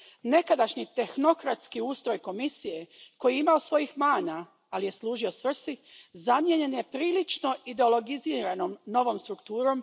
Nekadašnji tehnokratski ustroj Komisije, koji je imao svojih mana, ali je služio svrsi, zamijenjen je prilično ideologiziranom novom strukturom.